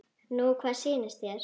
Nú hvað sýnist þér.